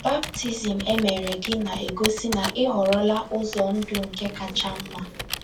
Baptizim e mere gị na - egosị na ị họrọla ụzọ ndụ nke kacha mma